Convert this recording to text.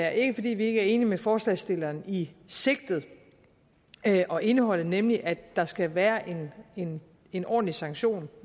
er ikke fordi vi ikke er enige med forslagsstillerne i sigtet og indholdet nemlig at der skal være en en ordentlig sanktion